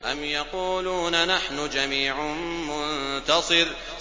أَمْ يَقُولُونَ نَحْنُ جَمِيعٌ مُّنتَصِرٌ